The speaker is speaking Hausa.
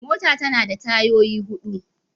Mota tana da tayoyi hudu.